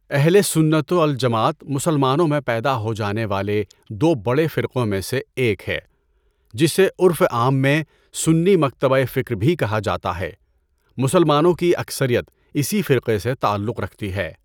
اہل سنت و الجماعت مسلمانوں میں پیدا ہو جانے والے دو بڑے فرقوں میں سے ایک ہے، جسے عرف عام میں سنی مکتبہ فکر بھی کہا جاتا ہے، مسلمانوں کی اکثریت اسی فرقے سے تعلق رکھتی ہے۔